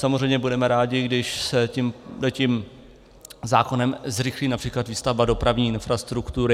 Samozřejmě budeme rádi, když se tímto zákonem zrychlí například výstavba dopravní infrastruktury.